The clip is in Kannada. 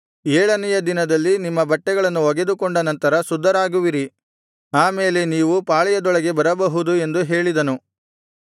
ಏಳನೆಯ ದಿನದಲ್ಲಿ ನಿಮ್ಮ ಬಟ್ಟೆಗಳನ್ನು ಒಗೆದುಕೊಂಡ ನಂತರ ಶುದ್ಧರಾಗುವಿರಿ ಆ ಮೇಲೆ ನೀವು ಪಾಳೆಯದೊಳಗೆ ಬರಬಹುದು ಎಂದು ಹೇಳಿದನು